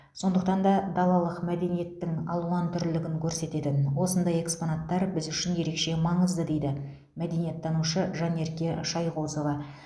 сондықтан да далалық мәдениеттің алуантүрлігін көрсететін осындай экспонаттар біз үшін ерекше маңызды дейді мәдениеттанушы жанерке шайғозова